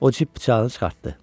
O cib bıçağını çıxart!